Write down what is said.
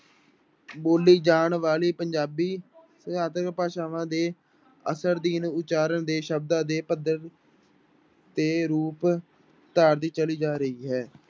ਬੋਲੀ ਜਾਣ ਵਾਲੀ ਪੰਜਾਬੀ ਭਾਸ਼ਾਵਾਂ ਦੇ ਉਚਾਰਨ ਦੇ ਸ਼ਬਦਾਂ ਦੇ ਪੱਧਰ ਤੇ ਰੂਪ ਧਾਰਦੀ ਚਲੀ ਜਾ ਰਹੀ ਹੈ।